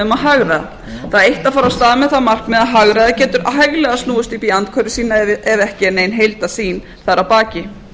það eitt að fara af stað með það markmið að hagræða getur hæglega snúist upp í andhverfu sína ef ekki er nein heildarsýn þar að baki